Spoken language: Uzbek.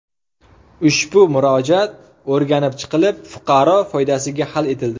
Ushbu murojaat o‘rganib chiqilib, fuqaro foydasiga hal etildi.